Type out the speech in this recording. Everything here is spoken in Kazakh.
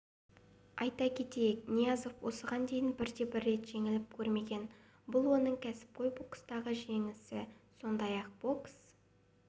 айта кетейік ниязов осыған дейін бірде-бер рет жеңіліп көрмеген бұл оның кәсіпқой бокстағы жеңісі сондай-ақ бокс